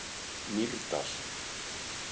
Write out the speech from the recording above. Mýrdal